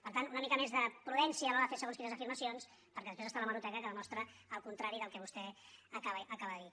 per tant una mica més de prudència a l’hora de fer segons quines afirmacions perquè després hi ha l’hemeroteca que demostra el contrari del que vostè acaba de dir